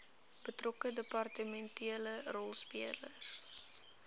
betrokke departementele rolspelers